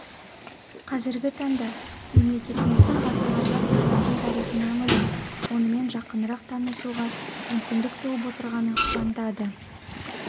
қазіргі таңда мемлекетіміздің ғасырларға татитын тарихына үңіліп онымен жақынырақ танысуға мүмкіндік туып отырғаны қуантады